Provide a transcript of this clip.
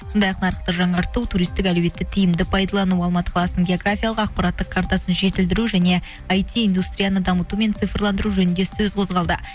сондай ақ нарықты жаңарту туристтік әлеуетті тиімді пайдалану алматы қаласының географиялық ақпараттық картасын жетілдіру және айти индустрияны дамыту мен цифрландыру жөнінде сөз қозғалды